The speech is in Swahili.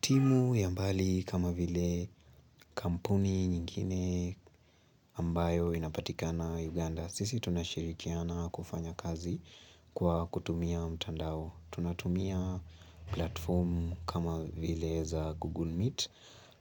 Timu ya mbali kama vile kampuni nyingine ambayo inapatikana Uganda Sisi tunashirikiana kufanya kazi kwa kutumia mtandao Tunatumia platform kama vile za Google Meet